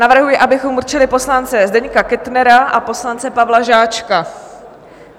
Navrhuji, abychom určili poslance Zdeňka Kettnera a poslance Pavla Žáčka.